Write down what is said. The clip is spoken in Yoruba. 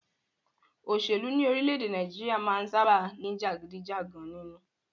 Òṣèlú ní orílẹ̀-èdè Nàìjíríà máà ń sábáà ní jàgídíjàgan nínú.